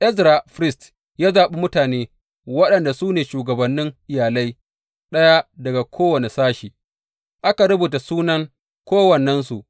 Ezra firist ya zaɓi mutane waɗanda su ne shugabannin iyalai, ɗaya daga kowane sashe, aka rubuta sunan kowannensu.